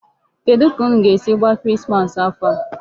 Kedụ ka unu ga-esi gbaa Christmas afọ a?